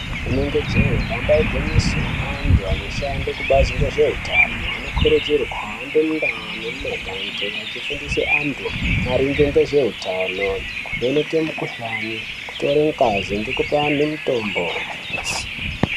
Inenge jee namba igwinyiiso antu anoshanda ngezvekubazi ngezveutano anokurudzirwa kuhambe mundau nemumagange achifundisa antu maringe ngezveutano veivheneke mukuhlani kutore ngazi ngekupe antu mitombo.